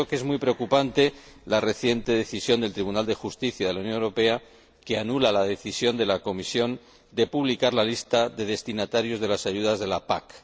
Es muy preocupante la reciente decisión del Tribunal de Justicia de la Unión Europea que anula la decisión de la Comisión de publicar la lista de destinatarios de las ayudas de la PAC.